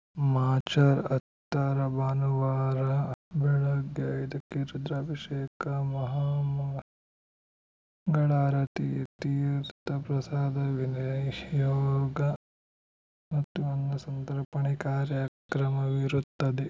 March ಹತ್ತರ ಭಾನುವಾರ ಬೆಳಗ್ಗೆ ಐದು ಕ್ಕೆ ರುದ್ರಾಭಿಷೇಕ ಮಹಾಮಂಗಳಾರತಿ ತೀರ್ಥಪ್ರಸಾದ ವಿನಿಯೋಗ ಮತ್ತು ಅನ್ನಸಂತರ್ಪಣೆ ಕಾರ್ಯಕ್ರಮವಿರುತ್ತದೆ